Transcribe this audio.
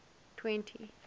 twenty